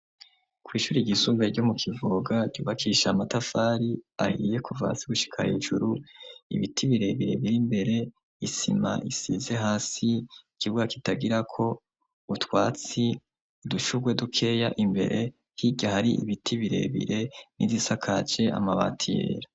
Kw'ishuri ryisumbuye ryo mu Kivoga ryubakisha amatafari ahiye kuva hasi gushika hejuru, ibiti birebire biri imbere, isima isize hasi, ikibuga kitagirako utwatsi, udushurwe dukeya imbere, hirya hari ibiti birebire, n'izisakaje amabati yera.